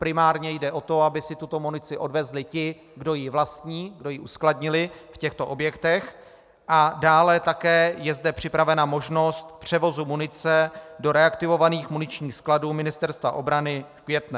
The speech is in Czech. Primárně jde o to, aby si tuto munici odvezli ti, kdo ji vlastní, kdo ji uskladnili v těchto objektech, a dále také je zde připravena možnost převozu munice do reaktivovaných muničních skladů Ministerstva obrany v Květné.